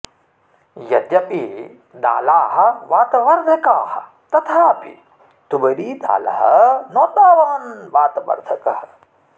यद्यपि दालाः वातवर्धकाः तथापि तुवरीदालः न तावान् वातवर्धकः